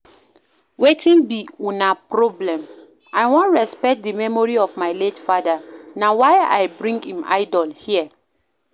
Wetin be una problem? I wan respect the memory of my late father na why I bring im idol here